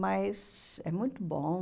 Mas é muito bom.